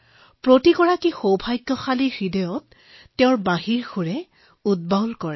তেওঁৰ বাঁহীয়ে সকলোৰে মন আৰু হৃদয় স্পৰ্শ কৰে